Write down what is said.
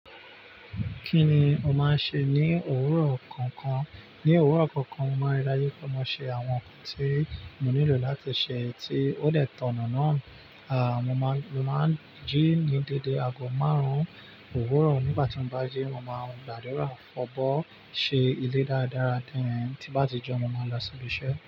Kí ni o máa ń ṣe ní òwúrọ̀ kọ̀ọ̀kan? Ní òwúrọ̀ kọ̀ọ̀kan, mo máa ń rí daju pe mo má ṣe àwọn nǹkan tí mo nílò láti ṣe tí ó de tàn-ọ̀nà náà. À, mo máa ń, mo máa ń jí ní dédé aago márùn-ún òwúrọ̀. Nígbà tí n bá jí, mo máa ń gbàdúrà, fọ̀bọ́, ṣe ilé dáradára then, tí bá ti jeun, mo máa lọ sí ibi iṣẹ́.